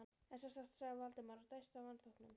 En sem sagt sagði Valdimar og dæsti af vanþóknun.